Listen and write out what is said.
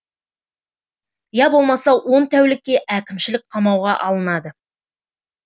я болмаса он тәулікке әкімшілік қамауға алынады